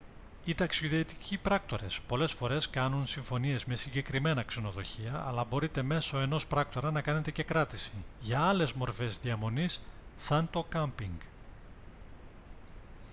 οι ταξιδιωτικοί πράκτορες πολλές φορές κάνουν συμφωνίες με συγκεκριμένα ξενοδοχεία αλλά μπορείτε μέσω ενός πράκτορα να κάνετε και κράτηση για άλλες μορφές διαμονής σαν το κάμπινγκ